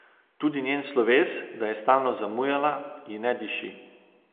Tudi njen sloves, da je stalno zamujala, ji ne diši.